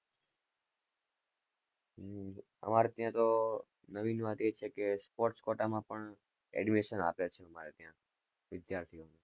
અમારે ત્યાં તો નવીન માં જી સકે sports કોટા માં પણ admission આપે છે અમારે ત્યાં વિધાર્થી.